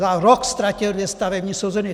Za rok ztratil dvě stavební sezóny!